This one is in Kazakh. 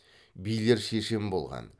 билер шешен болған